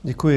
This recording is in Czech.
Děkuji.